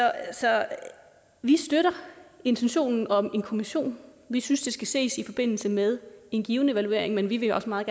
vi støtter intentionen om en kommission vi synes det skal ses i forbindelse med en given evaluering men vi vil også meget